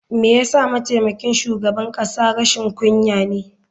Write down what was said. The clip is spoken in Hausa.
Me yasa mataimakin shugaban kasa rashin kunya ne?